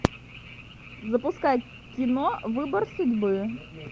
запускай кино выбор судьбы